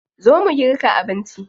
Zo mu girka abinci.